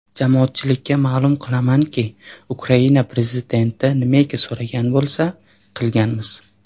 Jamoatchilikka ma’lum qilamanki, Ukraina prezidenti nimaiki so‘ragan bo‘lsa, qilganmiz.